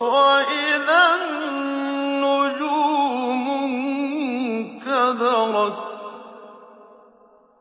وَإِذَا النُّجُومُ انكَدَرَتْ